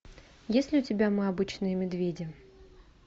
есть ли у тебя мы обычные медведи